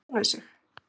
Utan við sig?